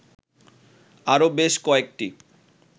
আরো বেশ কয়েকটি